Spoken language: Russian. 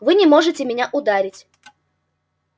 вы не можете меня ударить